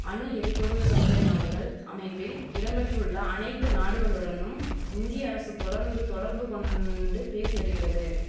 அணு எரிபொருள் சப்ளே நாடுகள் அமைப்பில் இடம் பெற்றுள்ள அனைத்து நாடுகளுடனும் இந்திய அரசு தொடர்ந்து தொடர்பு கொண்டு பேசி வரிகிறது